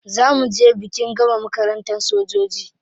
Za mu je bikin gama makarantar sojoji.